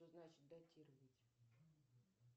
что значит датировать